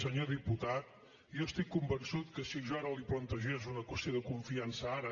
senyor diputat jo estic convençut que si jo ara li plantegés una qüestió de confiança ara